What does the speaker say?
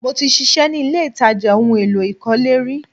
Mo ti ṣiṣẹ́ ni ilé-ìtàjà ohun èlò ìkọ́lé rí